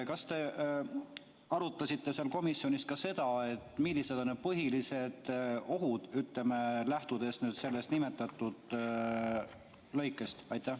Kas te arutasite komisjonis ka seda, millised on põhilised ohud, lähtudes nimetatud lõikest?